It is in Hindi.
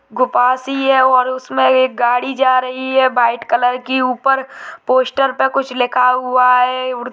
गुफा सी है और उसमें एक गाड़ी जा रही है वाइट कलर की ऊपर पोस्टर पे कुछ लिखा हुआ है उड़ --